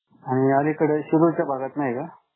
आणि अलीकडे शिरूरच्या भागात नाही का?